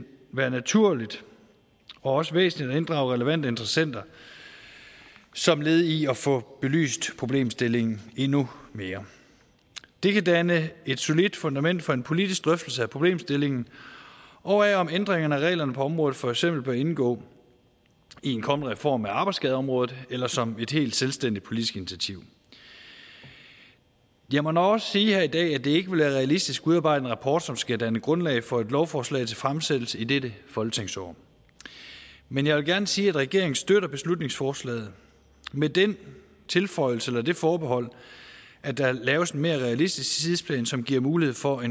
være naturligt og også væsentligt at inddrage relevante interessenter som led i at få belyst problemstillingen endnu mere det kan danne et solidt fundament for en politisk drøftelse af problemstillingen og af om ændringerne af reglerne på området for eksempel bør indgå i en kommende reform af arbejdsskadeområdet eller som et helt selvstændigt politisk initiativ jeg må nok også sige her i dag at det ikke vil være realistisk at udarbejde en rapport som skal danne grundlag for et lovforslag til fremsættelse i dette folketingsår men jeg vil gerne sige at regeringen støtter beslutningsforslaget med den tilføjelse eller det forbehold at der laves en mere realistisk tidsplan som giver mulighed for